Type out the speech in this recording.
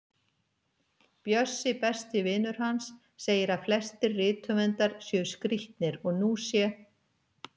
Bjössi, besti vinur hans, segir að flestir rithöfundar séu skrítnir og nú sé